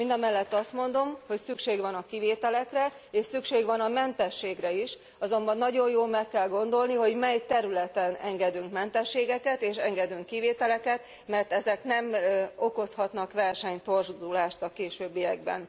Mindamellett azt mondom, hogy szükség van a kivételekre és szükség van a mentességre is, azonban nagyon jól meg kell gondolni, hogy mely területen engedünk mentességeket és engedünk kivételeket, mert ezek nem okozhatnak versenytorzulást a későbbiekben.